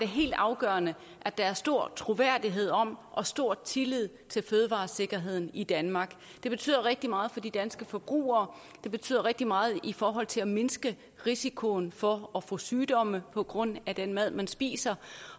helt afgørende at der er stor troværdighed om og stor tillid til fødevaresikkerheden i danmark det betyder rigtig meget for de danske forbrugere det betyder rigtig meget i forhold til at mindske risikoen for at få sygdomme på grund af den mad man spiser